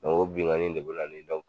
O binkanni de be na ni dɔn.